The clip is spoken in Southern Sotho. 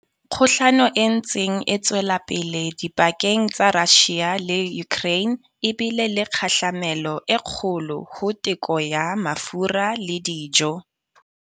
Kgohlano e ntseng e tswela pele dipakeng tsa Russia le Ukraine, e bile le kgahlamelo e kgolo ho teko ya mafura le dijo.